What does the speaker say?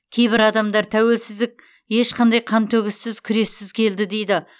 кейбір адамдар тәуелсіздік ешқандай қантөгіссіз күрессіз келді дейді